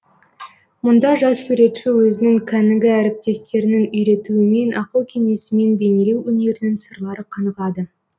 мұнда жас суретші өзінің кәнігі әріптестерінің үйретуімен ақыл кеңесімен бейнелеу өнерінің сырлары қанығады